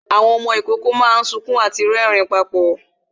Àwọn ọmọ ìkókó máa ń sunkún àti rẹrin púpọ̀